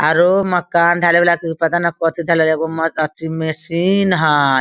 आरो उ मकान ढ़लाई वाला के पता नहीं कोथि ढ़लाई एगो मशीन हई।